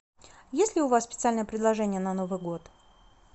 есть ли у вас специальное предложение на новый год